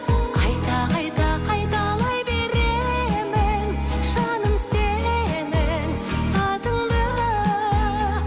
қайта қайта қайталай беремін жаным сенің атыңды